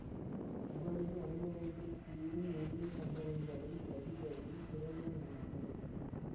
அவரது அனுபவங்கள் கூறும் உண்மை சம்பவங்களை பதிவதில் திறமையானவர்